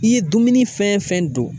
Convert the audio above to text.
I ye dumuni fɛn don